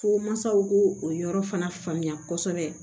Fo mansaw k'o yɔrɔ fana faamuya kosɛbɛ